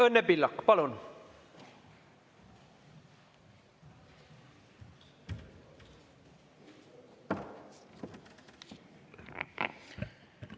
Õnne Pillak, palun!